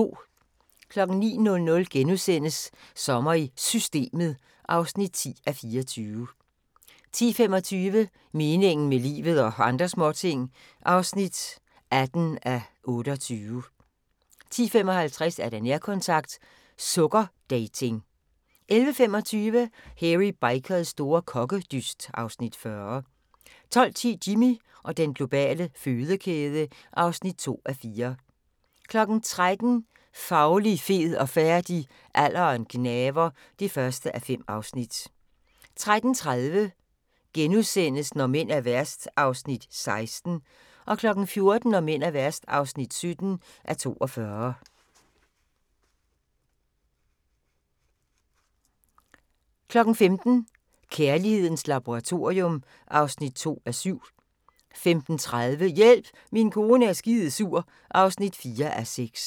09:00: Sommer i Systemet (10:24)* 10:25: Meningen med livet – og andre småting (18:28) 10:55: Nærkontakt – Sukkerdating 11:25: Hairy Bikers store kokkedyst (Afs. 40) 12:10: Jimmy og den globale fødekæde (2:4) 13:00: Fauli, fed og færdig - Alderen gnaver (1:5) 13:30: Når mænd er værst (16:42)* 14:00: Når mænd er værst (17:42) 15:00: Kærlighedens laboratorium (2:7) 15:30: Hjælp, min kone er skidesur (4:6)